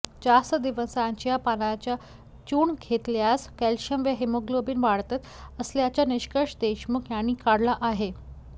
जास्त दिवसांच्या पानांचे चूर्ण घेतल्यास कॅल्शियम व हिमोग्लोबिन वाढत असल्याचा निष्कर्ष देशमुख यांनी काढला आहे